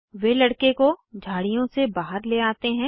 वे लड़के को झाड़ियों से बहार ले आते हैं